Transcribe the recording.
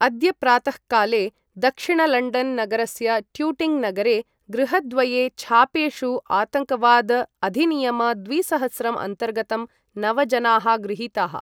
अद्य प्रातःकाले दक्षिणलण्डन् नगरस्य टूटिङ्ग् नगरे गृहद्वये छापेषु आतङ्कवाद अधिनियम द्विसहस्रं अन्तर्गतं नव जनाः गृहीताः ।